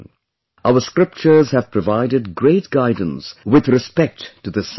Our scriptures have provided great guidance with respect to this subject